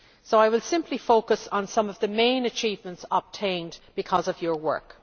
So I will simply focus on some of the main achievements obtained because of your work.